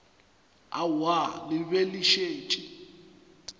aowa le be le šetše